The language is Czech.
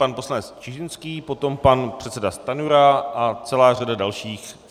Pan poslanec Čižinský, potom pan předseda Stanjura a celá řada dalších.